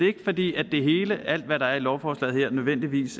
ikke fordi alt hvad der i lovforslaget her nødvendigvis